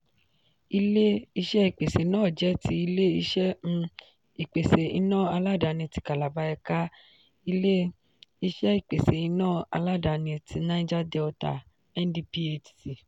ilé-iṣé ìpèsè náà jẹ́ tí ilé-iṣẹ um ìpèsè iná aládàáni ti calabar ẹ̀ka ilé-iṣẹ ìpèsè iná aládàáni tí niger delta (ndphc)